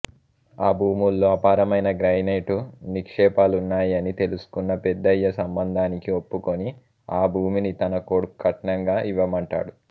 ఆ భూముల్లో అపారమైన గ్రానైటు నిక్షేపాలున్నాయని తెలుసుకున్న పెద్దయ్య సంబంధానికి ఒప్పుకొని ఆ భూమిని తన కొడుక్కొ కట్నంగా ఇవ్వమంటాడు